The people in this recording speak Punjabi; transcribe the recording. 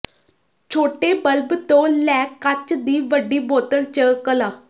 ਛੋਟੇ ਬਲਬ ਤੋਂ ਲੈ ਕੱਚ ਦੀ ਵੱਡੀ ਬੋਤਲ ਚ ਕਲਾ